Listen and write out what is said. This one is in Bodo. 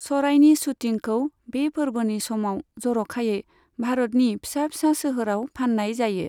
सरायनि शूटिंखौ बे फोरबोनि समाव जर'खायै भारतनि फिसा फिसा सोहोराव फाननाय जायो।